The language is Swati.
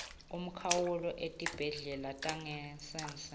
umkhawulo etibhedlela tangasese